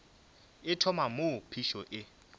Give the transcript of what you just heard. e thoma moo phišo e